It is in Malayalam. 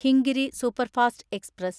Hingiri superfast express